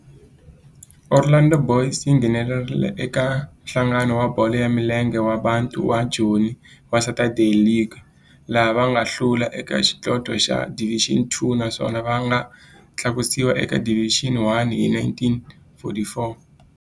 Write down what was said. Orlando Boys yi nghenelerile eka Nhlangano wa Bolo ya Milenge wa Bantu wa Joni wa Saturday League, laha va nga hlula eka xidlodlo xa Division Two naswona va nga tlakusiwa eka Division One hi 1944.